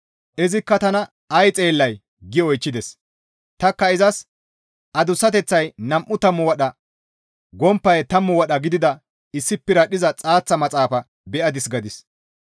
Izikka tana, «Ay xeellay?» gi oychchides. Tanikka izas, «Adussateththay nam7u tammu wadha, gomppay tammu wadha gidida issi piradhdhiza xaaththa maxaafa be7adis» gadis.